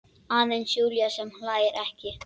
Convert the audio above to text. Aðeins Júlía sem hlær ekki.